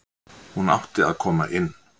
Hún átti að koma inn.